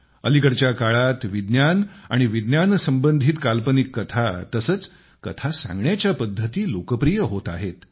अलीकडच्या काळात विज्ञान आणि विज्ञान संबंधित काल्पनिक कथा तसेच कथा सांगण्याच्या पद्धती लोकप्रिय होत आहेत